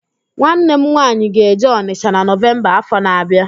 Nwanne m nwaanyị ga-eje Ọnịsha na Nọvemba áfọ̀ na-abịa